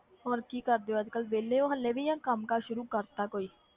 ਹੋਰ ਕੀ ਕਰਦੇ ਹੋ ਅੱਜ ਕੱਲ੍ਹ ਵਿਹਲੇ ਹੋ ਹਾਲੇ ਵੀ ਜਾਂ ਕੰਮ ਕਾਰ ਸ਼ੁਰੂ ਕਰ ਦਿੱਤਾ ਕੋਈ।